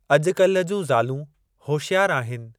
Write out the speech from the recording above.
अॼुकाल्हि जूं ज़ालू होशियारु आहिनि ।